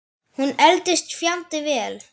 Hún eldist fjandi vel.